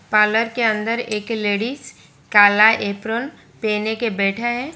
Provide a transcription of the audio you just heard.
Parlour के अंदर एक लेडिज काला एपरोंन पेहन के बैठा है।